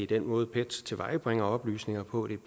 den måde pet tilvejebringer oplysninger på